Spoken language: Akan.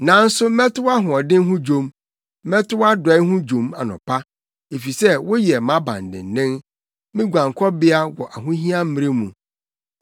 Nanso mɛto wʼahoɔden ho dwom, mɛto wʼadɔe ho dwom anɔpa; efisɛ woyɛ mʼabandennen, me guankɔbea wɔ ahohia mmere mu.